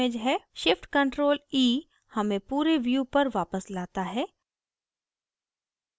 shift + ctrl + e हमें पूरे view पर वापस लाता है